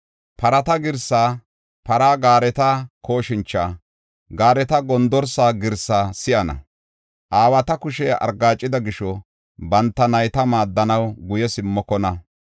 Parata girsaa, para gaareta kooshincha, gaareta gondorsa girsaa si7ana. Aawata kushey argaacida gisho, banta nayta maaddanaw guye simmokona.